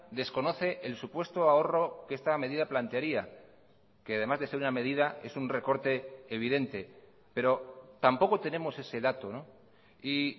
desconoce el supuesto ahorro que esta medida plantearía que además de ser una medida es un recorte evidente pero tampoco tenemos ese dato y